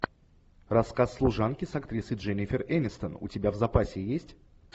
рассказ служанки с актрисой дженифер энистон у тебя в запасе есть